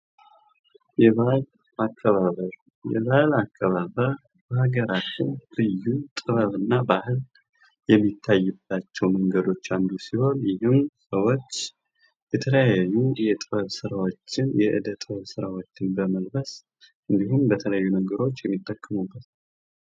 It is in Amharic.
ባህል ከትውልድ ወደ ትውልድ የሚተላለፍ ሲሆን የህብረተሰብን ማንነትና ታሪክ ጠብቆ ለማቆየት ወሳኝ ሚና ይጫወታል።